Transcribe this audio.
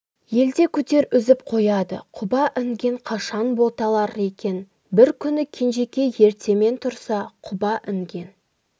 елде күдер үзіп қояды құба інген қашан боталар екен бір күні кенжекей ертемен тұрса құба інген